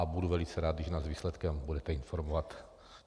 A budu velice rád, když nás o výsledku budete informovat.